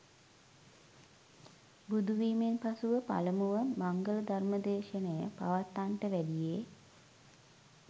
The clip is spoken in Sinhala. බුදුවීමෙන් පසුව පළමුව මංගල ධර්ම දේශනය පවත්වන්නට වැඩියේ